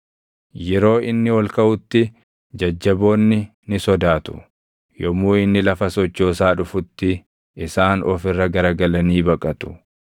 Yeroo inni ol kaʼutti, jajjaboonni ni sodaatu; yommuu inni lafa sochoosaa dhufutti isaan of irra garagalanii baqatu.